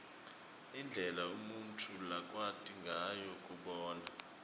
indlela umuntfu lakwati ngayo kubona